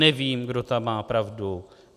Nevím, kdo tam má pravdu.